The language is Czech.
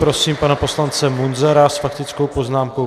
Prosím pana poslance Munzara s faktickou poznámkou.